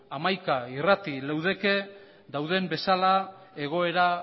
hamaika irrati leudeke dauden bezala egoera